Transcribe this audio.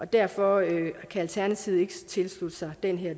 derfor kan alternativet ikke tilslutte sig den